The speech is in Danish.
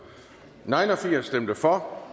for